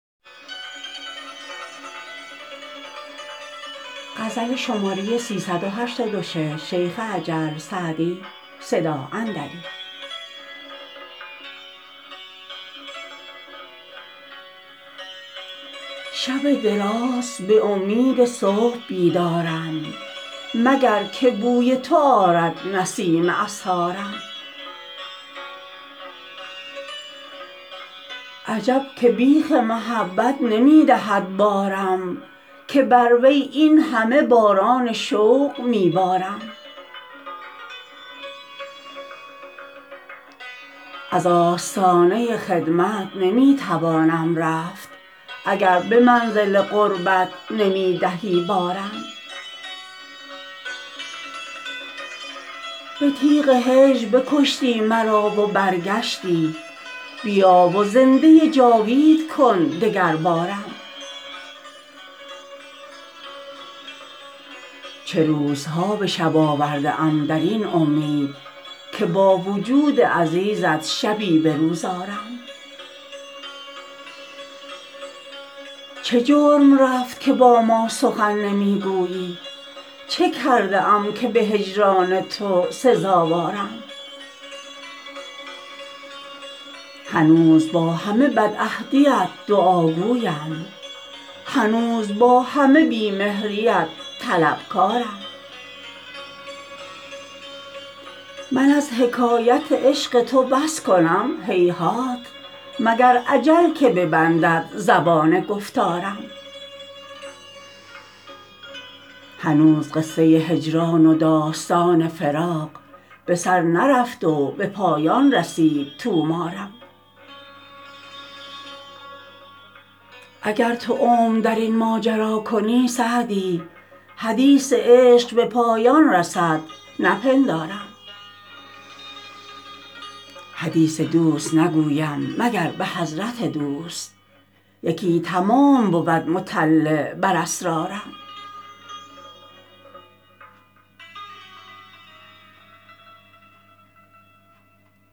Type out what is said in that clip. شب دراز به امید صبح بیدارم مگر که بوی تو آرد نسیم اسحارم عجب که بیخ محبت نمی دهد بارم که بر وی این همه باران شوق می بارم از آستانه خدمت نمی توانم رفت اگر به منزل قربت نمی دهی بارم به تیغ هجر بکشتی مرا و برگشتی بیا و زنده جاوید کن دگربارم چه روزها به شب آورده ام در این امید که با وجود عزیزت شبی به روز آرم چه جرم رفت که با ما سخن نمی گویی چه کرده ام که به هجران تو سزاوارم هنوز با همه بدعهدیت دعاگویم هنوز با همه بی مهریت طلبکارم من از حکایت عشق تو بس کنم هیهات مگر اجل که ببندد زبان گفتارم هنوز قصه هجران و داستان فراق به سر نرفت و به پایان رسید طومارم اگر تو عمر در این ماجرا کنی سعدی حدیث عشق به پایان رسد نپندارم حدیث دوست نگویم مگر به حضرت دوست یکی تمام بود مطلع بر اسرارم